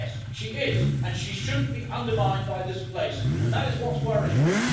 Yes, she is, and she shouldn't be undermined by this place, and that is what's worrying me.